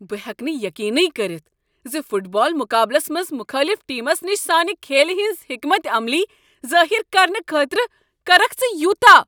بہٕ ہیکہٕ نہٕ یقینٕی کٔرتھ زِ فٹ بال مقابلس منٛز مخٲلف ٹیمس نش سانہ کھیلِ ہٕنز حکمت عملی ظٲہر کرنہٕ خٲطرٕ کریکھ ژٕ یوٗتاہ۔